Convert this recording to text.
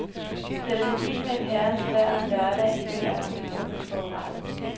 Sætter det i med et herrens vejr om lørdagen, føler jeg mig personligt forurettet.